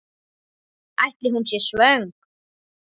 Ætli hún sé svöng?